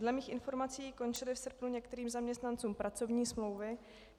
Dle mých informací končily v srpnu některým zaměstnancům pracovní smlouvy.